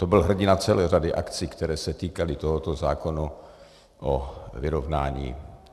To byl hrdina celé řady akcí, které se týkaly tohoto zákona o vyrovnání.